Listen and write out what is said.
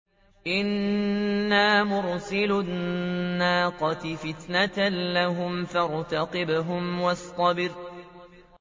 إِنَّا مُرْسِلُو النَّاقَةِ فِتْنَةً لَّهُمْ فَارْتَقِبْهُمْ وَاصْطَبِرْ